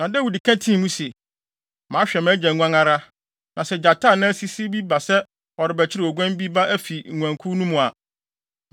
Na Dawid ka tii mu se, “Mahwɛ mʼagya nguan ara, na sɛ gyata anaa sisi bi ba sɛ ɔrebɛkyere oguan ba bi afi nguankuw no mu a,